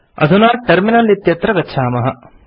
अधुना टर्मिनल इत्यत्र गच्छामः